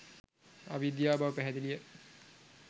අවිද්‍යාව බව පැහැදිලිය.